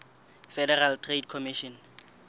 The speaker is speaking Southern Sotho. federal trade commission